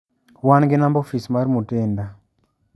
wan gi namba ofis mar Mutinda.